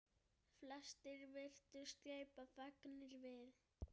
Flestir virtust gleypa fegnir við.